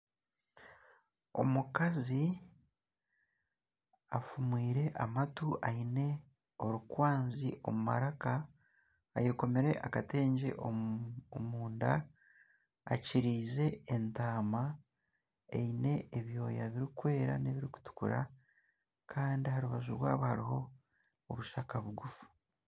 Omukazi afumwire amatu aine orukwazi omu maraka ayekomire akatengye omunda akyirize entaama eine ebyoya birikwera n'ebirikutukura kandi aha rubaju rwabo hariho obushaka bugufu.